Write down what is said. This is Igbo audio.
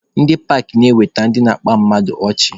Ndị paakị na-eweta ndị na-akpa mmadụ ọchị.